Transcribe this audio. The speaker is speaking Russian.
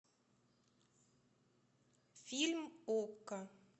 фильм окко